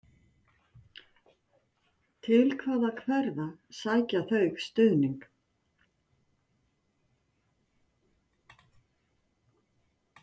Til hvaða hverfa sækja þau stuðning?